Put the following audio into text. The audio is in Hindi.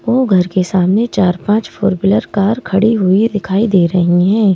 वो घर के सामने चार-पांच फोर व्हीलर कार खड़ी हुई दिखाई दे रही हैं।